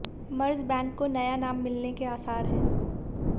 मर्ज bank को नया नाम मिलने के आसार हैं